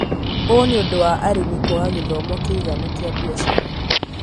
Ũũ nĩ ũndũ wa arĩmi kwaga gĩthomo kĩiganu kĩa biacara.